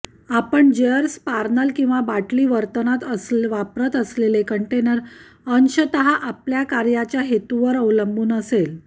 आपण जेअर स्पार्नल किंवा बाटली वर्तनात वापरत असलेले कंटेनर अंशतः आपल्या कार्याच्या हेतूवर अवलंबून असेल